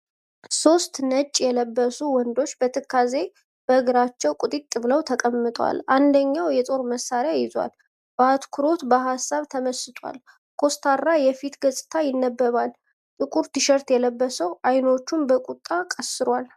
ሦስት ነጭ የለበሱ ወንዶች በትካዜ በእግራቸዉ ቁጢጥ ብለዉ ተቀምጠዋል። አንደኛዉ የጦር መሳሪያ ይዟል። በአትኩሮት በሀሳብ ተመስጠዋል። ኮስታራ የፊት ገፅታ ይነበባል። ጥቁር ቲሸርት የለበሰዉ አይኖቹ በቁጣ ቀስሯል።